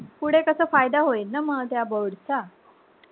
फुडे कसा फायदा होईल ना म त्या board चा